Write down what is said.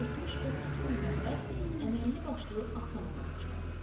Pörtmüş və tutqun Məmməd əməlli başlı axsağa başladı.